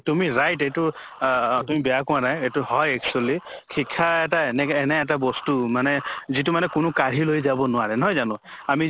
তুমি right এইটো অহ তুমি বেয়া কোৱা নাই এইটো হয় actually শিক্ষা এটে এনে এটা বস্তু মানে যিটো মানে কোনো কাঢ়ি লৈ যাব নোৱাৰে, নহয় জানো? আমি